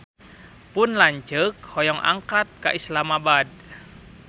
Pun lanceuk hoyong angkat ka Islamabad